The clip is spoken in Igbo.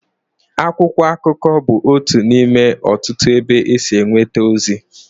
Akwụkwọ akụkọ bụ otu n'ime ọtụtụ ebe e si enweta ozi.